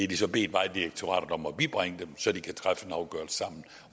de så bedt vejdirektoratet om at bibringe dem så de kan træffe en afgørelse sammen